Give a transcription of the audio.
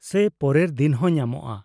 -ᱥᱮ ᱯᱚᱨᱮᱨ ᱫᱤᱱ ᱦᱚᱸ ᱧᱟᱢᱚᱜᱼᱟ ?